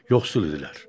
Yoxsul idilər.